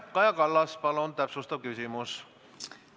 Kaja Kallas, palun täpsustav küsimus!